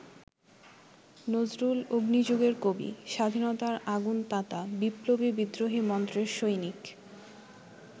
নজরুল অগ্নিযুগের কবি, স্বাধীনতার আগুন-তাতা বিপ্লবী বিদ্রোহী মন্ত্রের সৈনিক।